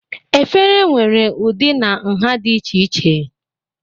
efere nwere ụdị na nha dị iche iche